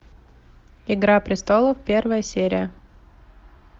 игра престолов первая серия